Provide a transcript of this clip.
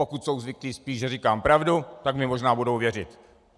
Pokud jsou zvyklí spíš, že říkám pravdu, tak mně možná budou věřit.